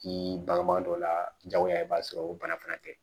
K'i bangebaa dɔ la jagoya i b'a sɔrɔ o bana fana tɛ